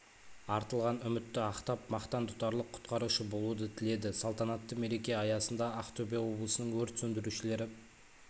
артылған үмітті ақтап мақтан тұтарлық құтқарушы болуды тіледі салтанатты мереке аясында ақтөбе облысының өрт сөндірушілері